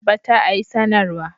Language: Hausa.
Ba ta a yi sanarwa.